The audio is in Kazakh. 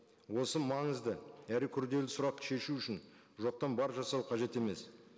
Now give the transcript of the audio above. осы маңызды әрі күрделі сұрақты шешу үшін жоқтан бар жасау қажет емес